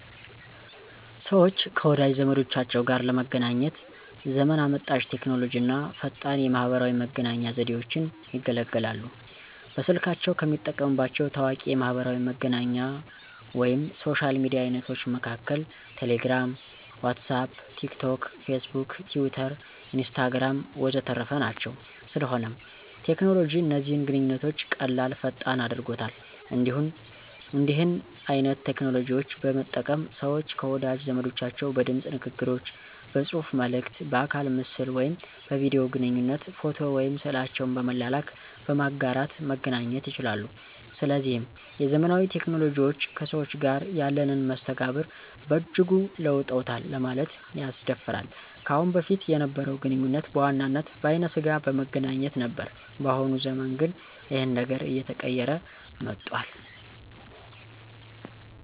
ሰወች ከወዳጅ ዘመዶቻቸው ጋር ለመገናኘት ዘመን አመጣሽ ቴክኖሎጂ አና ፈጣን የማህበራዊ መገናኛ ዘዴወችን ይገለገላሉ። በስልካቸው ከሚጠቀሙባቸው ታዋቂ የማሕበራዊ መገናኛ ወይም የሶሻል ሚዲያ አይነቶች መሀከል ቴሌግራም፣ ዋትስአፕ፣ ቲክ ቶክ፣ ፌስቡክ፣ ቲዊተር፣ ኢንስታግራም ወዘተረፈ ናቸው። ስለሆነም ቴክኖሎጂ እነዚህን ግንኙነቶች ቀላል፥ ፈጣን አድርጎታል። እንዲህን አይነት ቴክኖሎጂዎች በመጠቀም ሰወች ከወዳጅ ዘመዶቻቸው በድምጽ ንግግሮች፥ በጽሁፋ መልክት፥ በአካለ ምስል ወይም በቪዲዮ ግንኙነት፥ ፎቶ ወይም ስዕላቸውን በመላላክ፣ በማጋራት መገናኘት ይቻላሉ። ስለዚህም የዘመናዊ ቴክኖሎጂዎች ከሰዎች ጋር ያለንን መስተጋብር በእጅጉ ለውጦታል ለማለት ያስደፍራል። ከአሁን በፊት የነበረው ግንኙነት በዋናነት በአይነ ስጋ በመገናኘት ነበር በአሁኑ ዘመን ግን ይኸን ነገር አየተቀየረ መጧል።